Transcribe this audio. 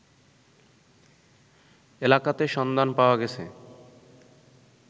এলাকাতে সন্ধান পাওয়া গেছে